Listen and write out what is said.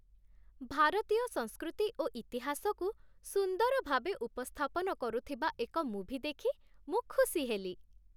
ଭାରତୀୟ ସଂସ୍କୃତି ଓ ଇତିହାସକୁ ସୁନ୍ଦର ଭାବେ ଉପସ୍ଥାପନ କରୁଥିବା ଏକ ମୁଭି ଦେଖି ମୁଁ ଖୁସି ହେଲି।